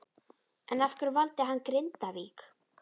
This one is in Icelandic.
En af hverju valdi hann Grindavík?